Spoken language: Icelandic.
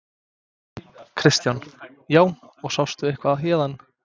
Kristján: Já, og sástu eitthvað héðan?